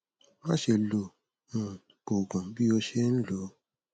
má ṣe lo um òògùn bí o ṣe ń lò ó